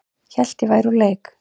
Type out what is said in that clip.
Hélt að ég væri úr leik